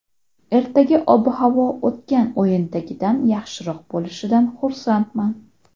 Ertaga ob-havo o‘tgan o‘yindagidan yaxshiroq bo‘lishidan xursandman.